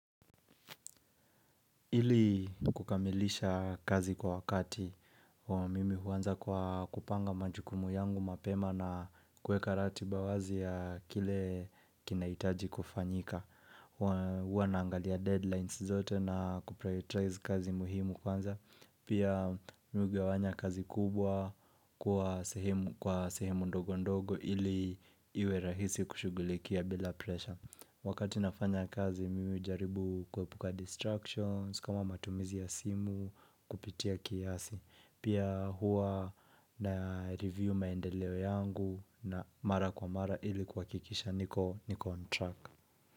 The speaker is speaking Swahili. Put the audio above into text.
Ili kukamilisha kazi kwa wakati, mimi huanza kwa kupanga majukumu yangu mapema na kuweka ratiba wazi ya kile kinahitaji kufanyika. Huwa naangalia deadlines zote na kuprioritize kazi muhimu kwanza. Pia mi hugawanya kazi kubwa kwa sehemu ndogo ndogo ili iwe rahisi kushughulikia bila pressure. Wakati nafanya kazi mimi hujaribu kuepuka distractions kama matumizi ya simu kupitia kiasi. Pia huwa na review maendeleo yangu na mara kwa mara ili kuhakikisha niko niko on track.